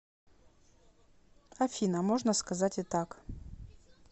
афина можно сказать и так